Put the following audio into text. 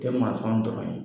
E dɔrɔn ye